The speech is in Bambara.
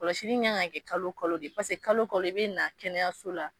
Kɔlɔsi' in kan ka kɛ kalo kalo de paseke kalo kalɔ e bɛ na kɛnɛyaso la